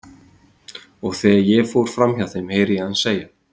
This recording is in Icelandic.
Og þegar ég fór fram hjá þeim heyri ég hann segja